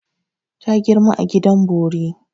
Ta girma a gidan bori.